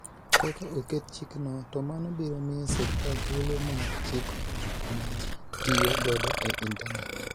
Ka oket chikno, to mano biro miyo sirkal thuolo mar chiko gik ma ji tiyo godo e intanet.